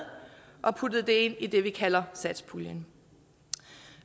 og putter det ind i det vi kalder satspuljen